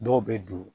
Dɔw bɛ don